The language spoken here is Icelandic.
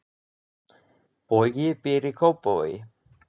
Bogi býr í Kópavogi.